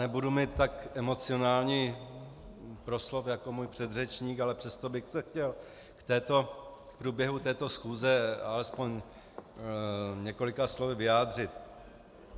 Nebudu mít tak emocionální proslov jako můj předřečník, ale přesto bych se chtěl k průběhu této schůze alespoň několika slovy vyjádřit.